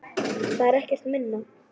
Það er ekkert minna!